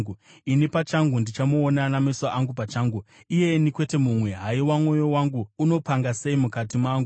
ini pachangu ndichamuona nameso angu pachangu, iyeni kwete mumwe. Haiwa, mwoyo wangu unopanga sei mukati mangu!